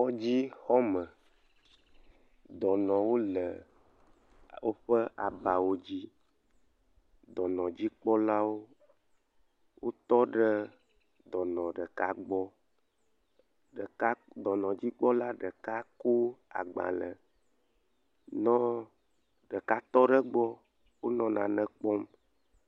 Kɔdzi xɔme, ɖɔnɔwo le woƒe abawo dzi, dɔnɔdzikpɔlawo tɔ ɖe dɔnɔ ɖeka gbɔ, ɖeka, dɔnɔdzikpɔla ɖeka ko agbalẽ nɔ, ɖeka tɔ ɖe gbɔ, wonɔ nane kpɔm,